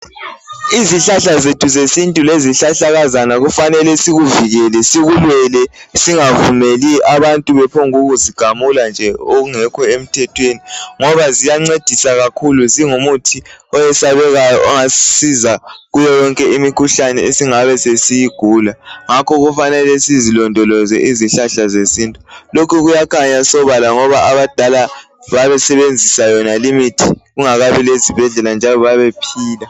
Izihlahla zethu zesintu lezihlahlakazana kufanele sikuvikele sikulwele singavumeli abantu bephonguzigamula okungekho emthethweni ngoba ziyancedisa kakhulu zingumuthi eyesabekayo ongasisiza kuyoyonke imikhuhlane esingabe siyigula. Ngakho kufanele sizilondoloze izihlahla zesintu lokho kuyakhanya sobala ngoba abadala babesebenzisa yonale imithi kungakabi lezibhedlela njalo babephila.